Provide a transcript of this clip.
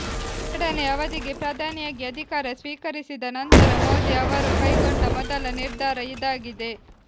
ಎರಡನೇ ಅವಧಿಗೆ ಪ್ರಧಾನಿಯಾಗಿ ಅಧಿಕಾರ ಸ್ವೀಕರಿಸಿದ ನಂತರ ಮೋದಿ ಅವರು ಕೈಗೊಂಡ ಮೊದಲ ನಿರ್ಧಾರ ಇದಾಗಿದೆ